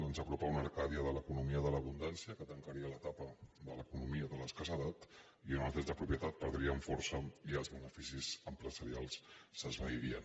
ens apropa a una arcàdia de l’economia de l’abundància que tancaria l’etapa de l’economia de l’escassedat i on els drets de propietat perdrien força i els beneficis empresarials s’esvairien